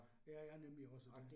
Ja ja nemlig også det